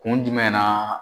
Ku jumɛn na?